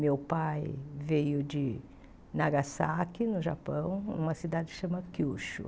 Meu pai veio de Nagasaki, no Japão, numa cidade que se chama Kyushu.